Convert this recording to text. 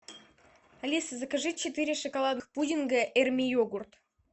алиса закажи четыре шоколадных пудинга эрми йогурт